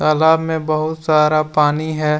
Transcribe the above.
तालाब में बहुत सारा पानी है।